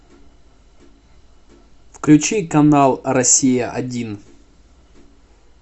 включи канал россия один